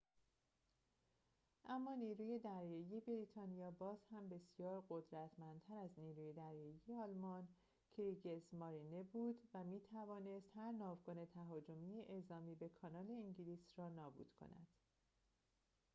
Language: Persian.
اما نیروی دریایی بریتانیا بازهم بسیار قدرتمندتر از نیروی دریایی آلمان «کریگزمارینه» بود و می‌توانست هر ناوگان تهاجمی اعزامی به کانال انگلیس را نابود کند